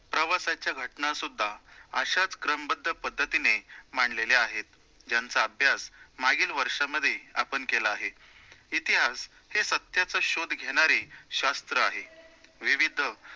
प्रवासाच्या घटना सुद्धा अशाचं क्रमबद्ध पद्धतीने मांडलेल्या आहेत, ज्यांचा अभ्यास मागील वर्षामध्ये आपण केला आहे. इतिहास हे सत्याचा शोध घेणारे शास्त्र आहे, विविध